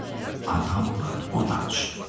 Adam var, o danışır.